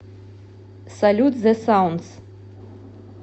салют зе саундс